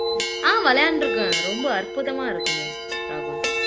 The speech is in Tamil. ஆஹ் விளையாண்டிருக்கேன் ரொம்ப அற்புதமா இருக்குமே ராகுல்